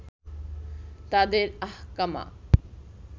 তাদের আহকামা